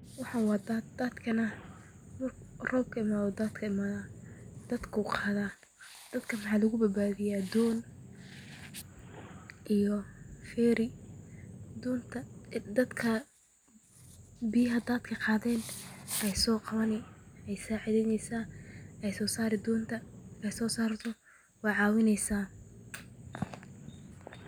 Waxaan waa daad, dadaka markuu roob imaado ayuu imaada, dadka doon ayaa lagu badbadiiyo, waay caawineysa.